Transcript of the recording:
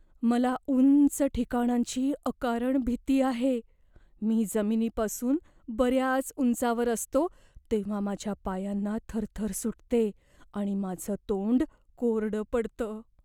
मला उंच ठिकाणांची अकारण भीती आहे. मी जमिनीपासून बऱ्याच उंचावर असतो तेव्हा माझ्या पायांना थरथर सुटते आणि माझं तोंड कोरडं पडतं.